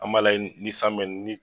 An m'a lajɛ ni san mina ni